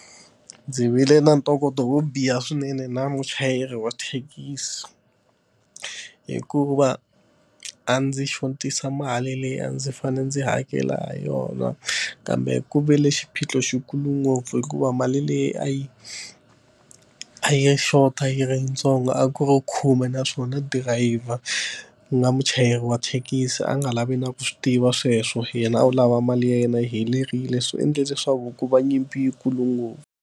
Ndzi vile na ntokoto wo biha swinene na muchayeri wa thekisi hikuva a ndzi xotisa mali leyi a ndzi fanele ndzi hakela ha yona kambe ku vi le xiphiqo xi kulu ngopfu hikuva mali le leyi a yi a yi xota yi ri yitsongo a ku ri khume naswona dirayivha, ku nga muchayeri wa thekisi a nga lavi na ku swi tiva sweswo. Yena a wo lava mali ya yena yi helerile swi endle leswaku ku va nyimpi yikulu ngopfu.